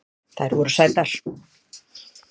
Þær voru sætar